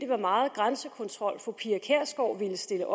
hvor meget grænsekontrol fru pia kjærsgaard ville stille